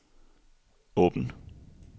åben